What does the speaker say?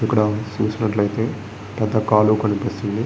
ఇక్కడ చూసినట్లయితే పెద్ద కాలువ కనిపిస్తుంది.